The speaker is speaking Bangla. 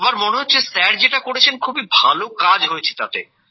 সবার মনে হচ্ছে স্যার যেটা করেছেন খুবই ভালো কাজ হয়েছে তাতে